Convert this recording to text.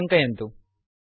इति टङ्कयन्तु